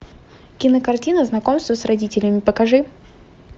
кинокартина знакомство с родителями покажи